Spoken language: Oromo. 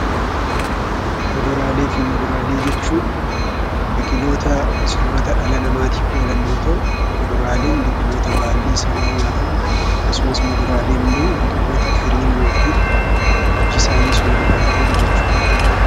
Kuduraalee fi muduraalee jechuun biqiloota soorata dhala namaatiif oolan yoo ta'u, fuduraaleen baalli isaanii nyaatamu akkasumasimmoo muduraaleenimmoo biqiloota firiin yookiin iji isaanii soorataaf oolu jechuudha.